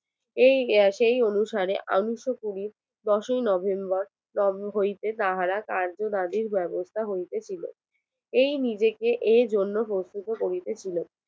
সেই অনুসারে উনিশশো কুড়ি দোষই নভেম্বর লখনৌ হইতে তাহারা কার্যবাদী ব্যবস্থা হইতে ছিল এই নিজেকে এই জন্য প্রস্তুত করিতে ছিল